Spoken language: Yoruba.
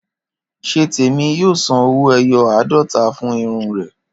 Ṣétèmi yóò san owó-ẹyọ àádọ́ta fún irun rẹ̀